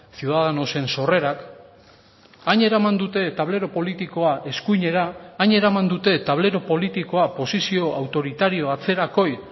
ciudadanosen sorrerak hain eraman dute tablero politikoa eskuinera hain eraman dute tablero politikoa posizio autoritario atzerakoi